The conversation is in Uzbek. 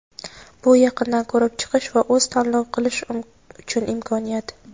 Bu yaqindan ko‘rib chiqish va o‘z tanlov qilish uchun imkoniyat.